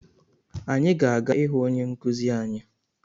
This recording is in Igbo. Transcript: Anyị ga-aga ịhụ onye nkuzi anyi